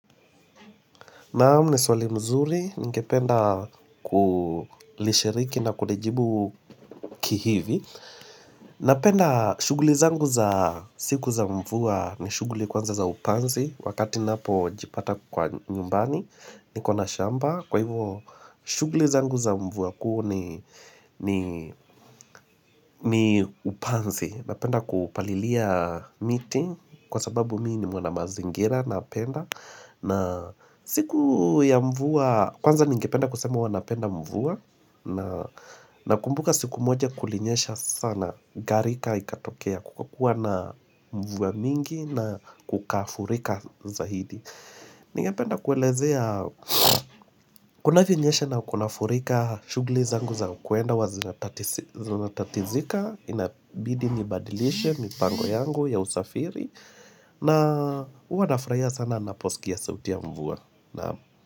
Naam, ni swali mzuri, ningependa kulishiriki na kulijibu kihivi Napenda shughuli zangu za siku za mvua ni shughuli kwanza za upanzi Wakati ninapo jipata kwa nyumbani, nikona shamba Kwa hivyo shughuli zangu za mvua kuu ni ni upanzi, napenda kupalilia miti kwasababu mimi ni mwana mazingira napenda na siku ya mvua kwanza ningependa kusema huwanapenda mvua na nakumbuka siku moja kulinyesha sana garika ikatokea kukakuwa na mvua mingi na kukafurika zaidi ningependa kuelezea kunavyonyesha na kunafurika shughli zangu za kwenda huwa zinatatizika inabidi nibadilishe mipango yangu ya usafiri na huwa nafurahia sana ninaposikia sauti ya mvua na.